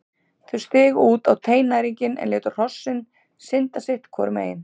Þau stigu út á teinæringinn en létu hrossin synda sitt hvoru megin.